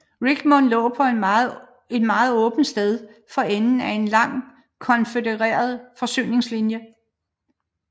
Richmond lå på et meget sårbart sted for enden af en lang konfødereret forsyningslinje